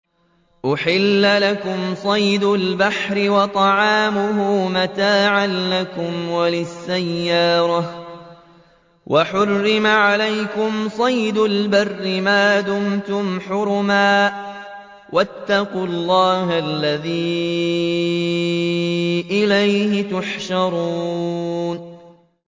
أُحِلَّ لَكُمْ صَيْدُ الْبَحْرِ وَطَعَامُهُ مَتَاعًا لَّكُمْ وَلِلسَّيَّارَةِ ۖ وَحُرِّمَ عَلَيْكُمْ صَيْدُ الْبَرِّ مَا دُمْتُمْ حُرُمًا ۗ وَاتَّقُوا اللَّهَ الَّذِي إِلَيْهِ تُحْشَرُونَ